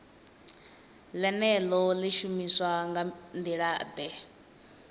ḽeneḽo ḽi shumiswa nga nḓilaḓe